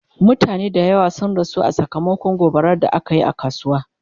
mutane da yawa sun rasu sakamakon gobarar da akayi a kasuwa